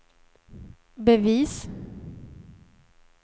bevis